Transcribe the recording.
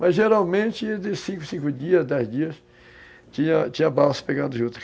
Mas, geralmente, de cinco, cinco dias, dez dias, tinha tinha balsa pegando juta.